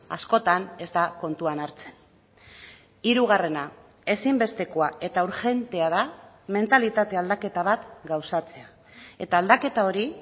askotan ez da kontuan hartzen hirugarrena ezinbestekoa eta urgentea da mentalitate aldaketa bat gauzatzea eta aldaketa hori